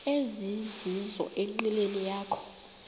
ezizizo enqileni yakho